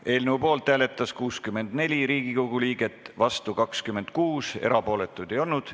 Hääletustulemused Poolt hääletas 64 Riigikogu liiget, vastu 26, erapooletuid ei olnud.